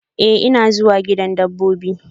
Eh, ina zuwa gidan dabbobin.